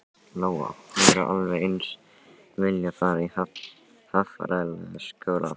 Lóa: Hefðirðu alveg eins viljað fara í Hafralækjarskóla?